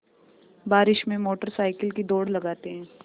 बारिश में motorcycle की दौड़ लगाते हैं